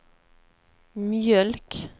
mjölk